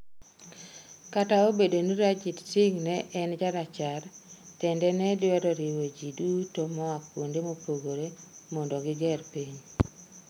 Kata obedo ni Ranjit Singh ne en jarachar tende ne dwaro riwo ji duto moa kuonde mopogore mondo gi ger piny.